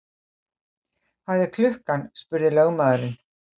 Hvað er klukkan? spurði lögmaðurinn.